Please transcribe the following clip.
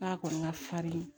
A kɔni ka farin